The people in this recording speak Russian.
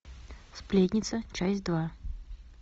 сплетница часть два